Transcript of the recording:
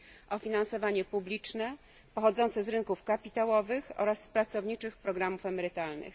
o finansowanie publiczne pochodzące z rynków kapitałowych oraz z pracowniczych programów emerytalnych.